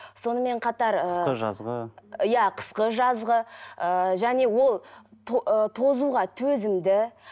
сонымен қатар ыыы қысқы жазғы иә қысқы жазғы ыыы және ол ы тозуға төзімді